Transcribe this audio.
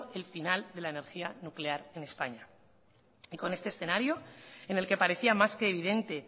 el final de la energía nuclear en españa con este escenario en el que parecía más que evidente